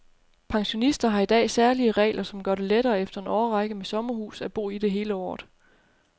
Pensionister har i dag særlige regler, som gør det lettere efter en årrække med sommerhus at bo i det hele året.